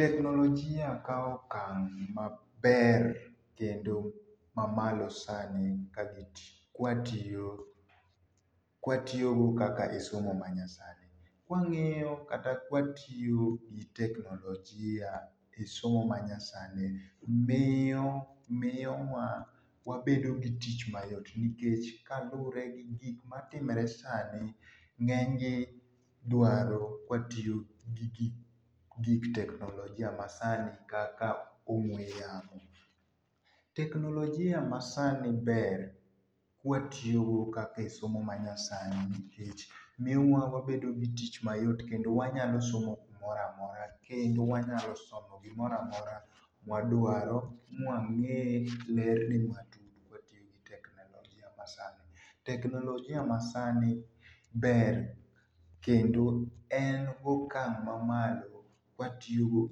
Teknologia kawo okang' maber kendo ma malo sani kwa tiyo kwa tiyo go kaka e somo ma nya sani. Ka wang'iyo kata ka watiyo gi teknologia e somo ma nyasani miyo miyo wabedo gi tich mayot nikech ka lure gi gik matimore sani ng'eny gi dwaro ka watiyo gi gik teknologia ma sani kaka ong'we yamo. Teknologia masani ber ka watoyogo kaka e somo ma nyasani nikech miyo wa wabedo gi tich mayot kendo wanyalo somo gimoro amora kendo wanyalo somo gimoro amora ma wadwaro ma mang'e ler matut ka watiyo gi technologia ma sani Technologia ma sani ber kendo en gokang' mamalo ka watiyogo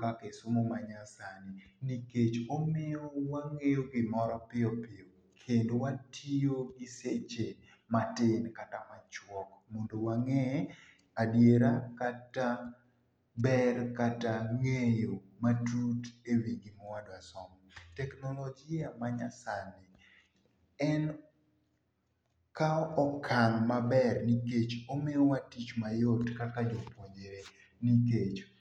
kaka e somo ma nyasani nikech omiyo wang'eyo gimoro piyopiyo kendo watiyo gi seche matin kata machwok mondo wang'e adiera kata ber kata ng'eyo matut e wi gi ma wadwa somo. Teknologia ma nyasani en kao okang' maber nikech omiyo wa tich mayot kaka jopuonjre nikech.